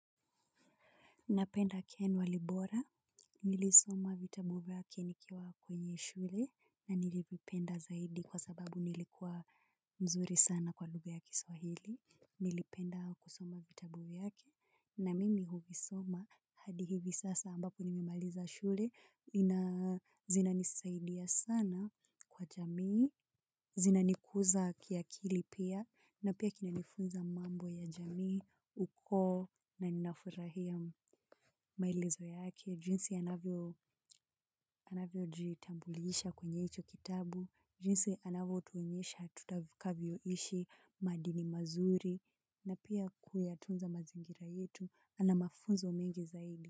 Napenda ken walibora, nilisoma vitabu vyake nikiwa kwenye shule na nilivipenda zaidi kwa sababu nilikuwa mzuri sana kwa lugha ya kiswahili. Nilipenda kusoma vitabu vyake na mimi huvisoma hadi hivi sasa ambapo nimemaliza shule zinazinanisaidia sana kwa jamii. Zinanikuza kiakili pia na pia kinanifunza mambo ya jamii, uko na ninafurahia maelezo yake. Jinsi anavyojitambulisha kwenye hicho kitabu. Jinsi anavyotuoenyesha tutakavyoishi madini mazuri. Na pia kuyatunza mazingira yetu ana mafunzo umengi zaidi.